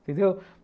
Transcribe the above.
Entendeu?